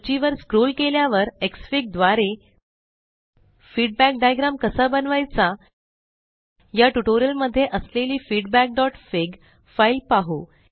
सूची वर स्क्रोल केल्यावर एक्सफिग द्वारे फीडबॅक डायग्राम कसा बनवायचा या ट्यूटोरियल मध्ये असलेली feedbackफिग फाइल पाहू